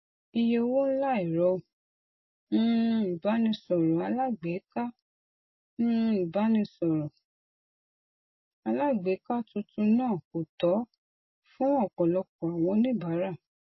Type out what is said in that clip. iye owó ńlá ẹrọ um ìbánisọrọ alágbèéká um ìbánisọrọ alágbèéká tuntun náà kò tọ fún ọpọlọpọ àwọn oníbàárà